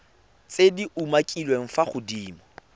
tse di umakiliweng fa godimo